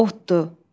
Otdur.